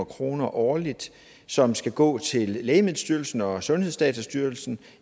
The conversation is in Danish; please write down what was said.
kroner årligt som skal gå til lægemiddelstyrelsen og sundhedsdatastyrelsen